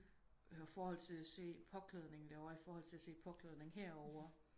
Og forhold til at se påklædningen der ovre iforldt til at se påklædningen her ovre